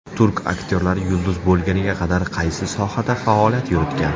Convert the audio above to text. Turk aktyorlari yulduz bo‘lguniga qadar qaysi sohada faoliyat yuritgan?